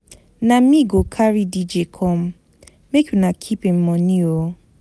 Na me go carry DJ come, make una keep im moni o.